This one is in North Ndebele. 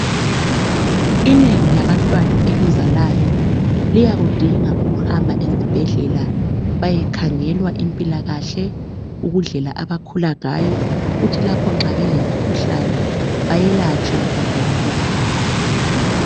Inengi labantwana elizalayo liyakudinga ukuhamba ezibhedlela bayekhangelwa impilakahle, indlela abakhula ngayo, kuthi lapho nxa belemikhuhlane bayelatshwe ngodokotela babo.